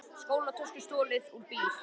Skólatösku stolið úr bíl